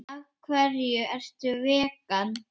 Af hverju ertu vegan?